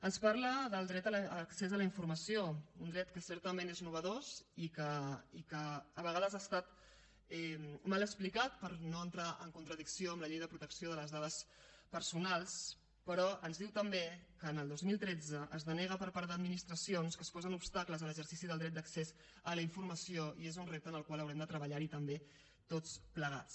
ens parla del dret a l’accés a la informació un dret que certament és nou i que a vegades ha estat mal explicat per no entrar en contradicció amb la llei de protecció de les dades personals però ens diu també que el dos mil tretze es denega per part d’administracions que es posen obstacles a l’exercici del dret d’accés a la informació i és un repte amb el qual haurem de treballar també tots plegats